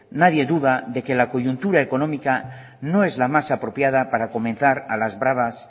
nadie duda de que la coyuntura económica no es la más apropiada para comenzar a las bravas